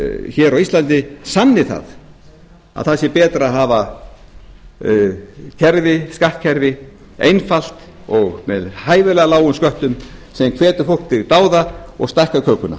hér á íslandi sanni að það er betra að hafa skattkerfið einfalt og með hæfilega lágum sköttum sem hvetur fólk til dáða og stækkar kökuna